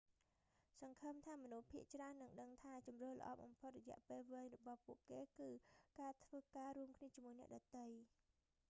សង្ឃឹមថាមនុស្សភាគច្រើននឹងដឹងថាជម្រើសល្អបំផុតរយៈពេលវែងរបស់ពួកគេគឺ ការធ្វើការរួមគ្នាជាមួយអ្នកដទៃ